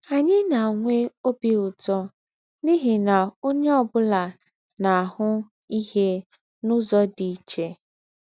Ányị̀ na-ànwè̄ óbì ūtọ́ n’íhí na ònyé ọ́ bụ́la na-àhụ́ íhè n’ụ́zọ̀ dì̄ íché